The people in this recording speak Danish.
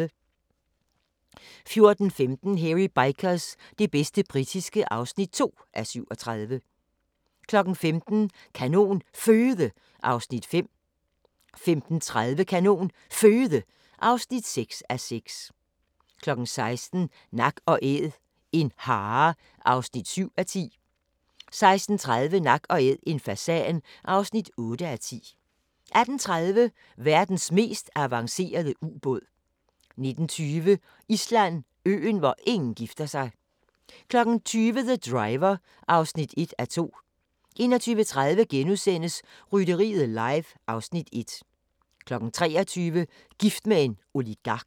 14:15: Hairy Bikers – det bedste britiske (2:37) 15:00: Kanon Føde (5:6) 15:30: Kanon Føde (6:6) 16:00: Nak & Æd – en hare (7:10) 16:30: Nak & Æd – en fasan (8:10) 18:30: Verdens mest avancerede ubåd 19:20: Island: Øen, hvor ingen gifter sig 20:00: The Driver (1:2) 21:30: Rytteriet live (Afs. 1)* 23:00: Gift med en oligark